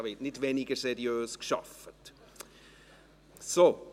Es wird nicht weniger seriös gearbeitet werden.